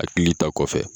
Hakili ta kɔfɛ